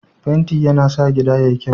fenti ya na sa gida kyau